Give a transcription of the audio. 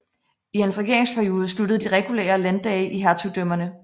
I hans regeringsperiode sluttede de regulære landdage i hertugdømmerne